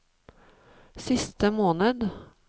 siste måned